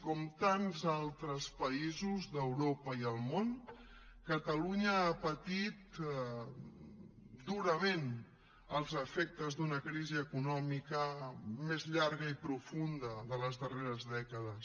com tants altres països d’europa i el món catalunya ha patit durament els efectes de la crisi econòmica més llarga i profunda de les darreres dècades